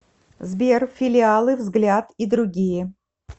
сбер филиалы взгляд и другие